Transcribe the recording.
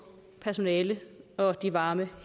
personale og de varme